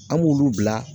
An b'olu bila